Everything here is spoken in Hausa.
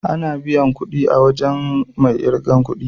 Ana biyan kudi a wajen mai irgan kudi.